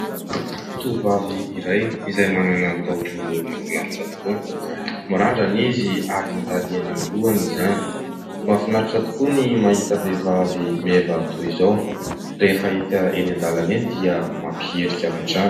Tovovavy iray izay manana taovolo mahafinaritra tokoa mirandrana izy ary mandady eny amin'ny lohany izany. Mahafinaritra tokoa ny mahita vehivavy meva toy izao rehefa hita eny an-dalana eny dia mampiherika avy hatrany.